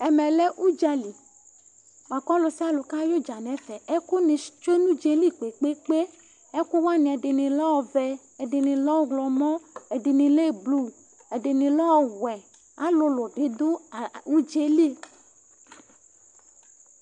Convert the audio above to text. Ɛmɛ lɛ uɖzali Buaku ɔlusialu ka yɛ uɖzà nu ɛfɛ Ɛku nu sh tsue nu uɖzà yɛ li kpe kpe kpe Ɛku waní, ɛɖini lɛ ɔʋɛ, ɛɖini lɛ uwlɔmɔ, ɛɖini lɛ blu, ɛɖini lɛ ɔʋɛ Ãlulu bi ɖu aa uɖzà yɛ li